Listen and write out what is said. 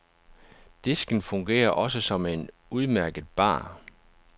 Disken fungerer også som en udmærket bar.